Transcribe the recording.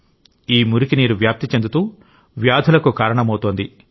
ఈ మురికి నీరు వ్యాప్తి చెందుతూ వ్యాధులకు కారణమవుతోంది